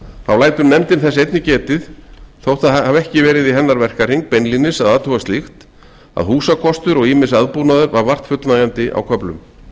þá lætur nefndin þess einnig getið þótt það hafi ekki verði í verkahring hennar beinlínis að athuga slíkt að húsakostur og ýmiss aðbúnaður var vart fullnægjandi á köflum